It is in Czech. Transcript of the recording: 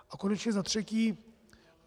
A konečně za třetí.